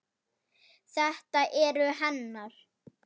Það eru hennar.